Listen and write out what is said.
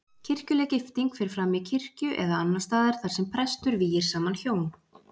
Kirkjuleg gifting fer fram í kirkju eða annars staðar þar sem prestur vígir saman hjón.